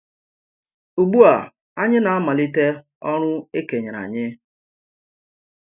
Ugbu a, anyị na-amàlite ọrụ e kènyèrè anyị.